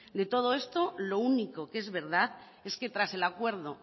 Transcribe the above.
de todo esto lo único que es verdad es que tras el acuerdo